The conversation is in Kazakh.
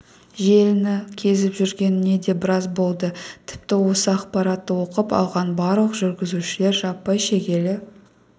желіні кезіп жүргеніне де біраз болды тіпті осы ақпаратты оқып алған барлық жүргізушілер жаппай шегелі